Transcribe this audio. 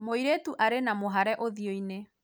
mũirĩtu arĩ na mũhare ũthĩo-inĩ